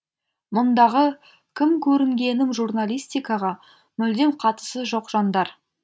мұндағы кім көрінгенім журналистикаға мүлдем қатысы жоқ жандар